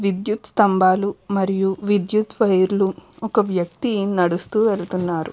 విద్యుత్ స్తంబాలు మరియు విద్యుత్ వైర్లు ఒక వ్యక్తి నడుస్తూ వెళ్తున్నాడు --